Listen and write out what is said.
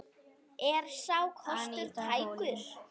Er sá kostur tækur?